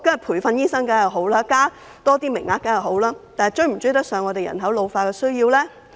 培訓醫生當然是好事，增加多些名額亦然，但能否追得上香港人口老化的需要呢？